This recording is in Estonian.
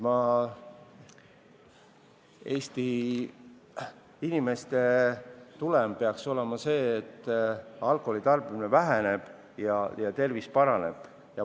Eesti inimeste kasu peaks olema selles, et alkoholi tarbimine väheneb ja tervis paraneb.